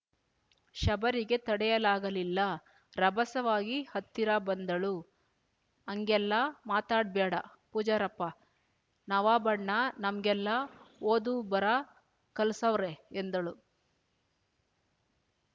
ಶಬರಿಗೆ ತಡೆಯಲಾಗಲಿಲ್ಲ ರಭಸವಾಗಿ ಹತ್ತಿರ ಬಂದಳು ಅಂಗೆಲ್ಲ ಮಾತಾಡ್‍ಬ್ಯಾಡ ಪೂಜಾರಪ್ಪ ನವಾಬಣ್ಣ ನಮ್ಗೆಲ್ಲ ಓದು ಬರಾ ಕಲ್ಸವ್ರೆ ಎಂದಳು